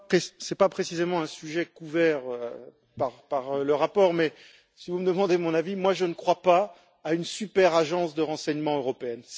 Ce n'est pas précisément un sujet couvert par le rapport, mais si vous me demandez mon avis, moi je ne crois pas à une superagence de renseignement européenne.